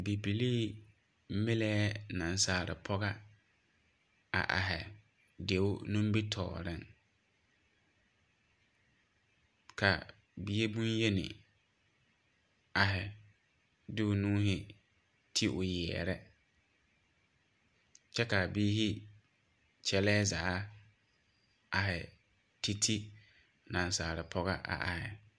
Bibilii mileɛ nasaalipoge a arhe deo nimitooreŋ. Ka bie bonyeni arhe di o nuuhe te o yeɛre kyɛ ka a biire yɛleɛ zaa arhe te te nasaalipoge a arhe.